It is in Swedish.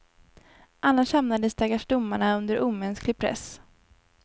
Annars hamnar de stackars domarna under omänsklig press.